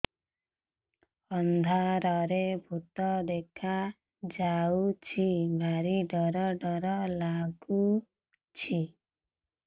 ଅନ୍ଧାରରେ ଭୂତ ଦେଖା ଯାଉଛି ଭାରି ଡର ଡର ଲଗୁଛି